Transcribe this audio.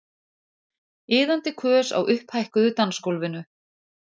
Iðandi kös á upphækkuðu dansgólfinu.